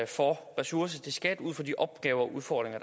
for ressourcer til skat ud fra de opgaver og udfordringer